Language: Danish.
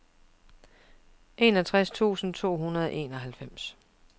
enogtres tusind to hundrede og enoghalvfems